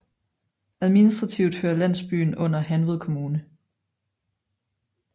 Administrativt hører landsyben under Hanved Kommune